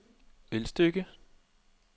Ølstykke